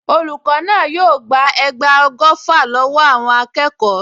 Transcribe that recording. Olùkọ́ náà yóò gba ẹgba ọgọ́fà lọ́wọ́ àwọn akẹ́kọ̀ọ.